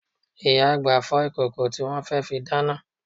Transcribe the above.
Ìyá àgbà ń fọ ìkòkò tí wọn fẹ́ fi dáná